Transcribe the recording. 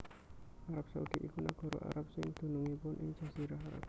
Arab Saudi iku nagara Arab sing dumunung ing Jazirah Arab